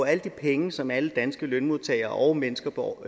alle de penge som alle danske lønmodtagere og mennesker på